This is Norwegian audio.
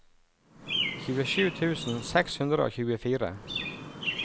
tjuesju tusen seks hundre og tjuefire